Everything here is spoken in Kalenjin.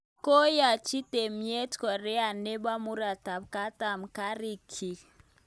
Koyachi tyemet Korea nebo murotakatam kariik chiik